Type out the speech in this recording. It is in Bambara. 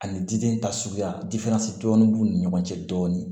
Ani diden ta suguya dɔɔnin b'u ni ɲɔgɔn cɛ dɔɔnin